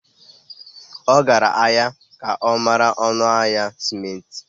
Ọ gara ahịa ka ọ mara ọnụ ahịa simenti.